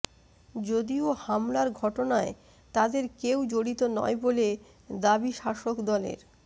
যদিও হামলার ঘটনায় তাদের কেউ জড়িত নয় বলে দাবি শাসকদলের